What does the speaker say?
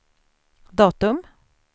datum